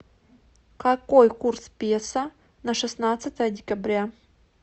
какой курс песо на шестнадцатое декабря